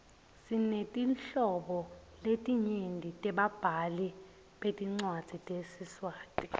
sinetinhlobo letinyenti tebabhali betincwadzi tesiswati